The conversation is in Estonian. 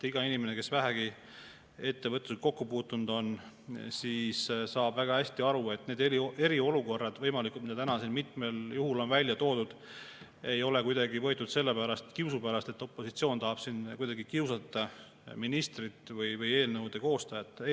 Iga inimene, kes vähegi on ettevõtlusega kokku puutunud, saab väga hästi aru, et need võimalikud eriolukorrad, mida täna siin mitmel juhul on välja toodud, ei ole kuidagi kiusu pärast, et opositsioon tahab siin kuidagi kiusata ministrit või eelnõude koostajat.